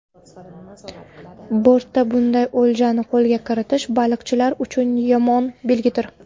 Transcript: Bortda bunday o‘ljani qo‘lga kiritish baliqchilar uchun yomon belgidir.